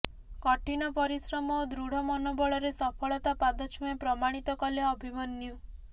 କଠିନ ପରିଶ୍ରମ ଓ ଦୃଢ ମନୋବଳରେ ସଫଳତା ପାଦ ଛୁଏଁ ପ୍ରମାଣିତ କଲେ ଅଭିମନ୍ୟୁ